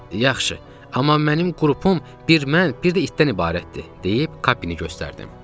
Yaxşı, amma mənim qrupum bir mən, bir də itdən ibarətdir, deyib Kappini göstərdim.